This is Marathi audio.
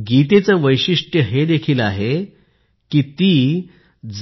कारण गीतेचं वैशिष्ट्य हे देखील आहे कि ती